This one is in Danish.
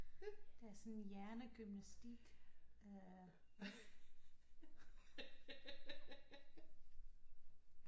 Der er sådan hjernegymnastik der